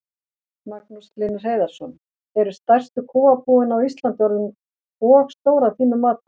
Magnús Hlynur Hreiðarsson: Eru stærstu kúabúin á Íslandi orðin og stór að þínu mati?